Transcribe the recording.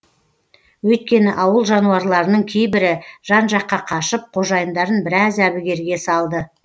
өйткені ауыл жануарларының кейбірі жан жаққа қашып қожайындарын біраз әбігерге салды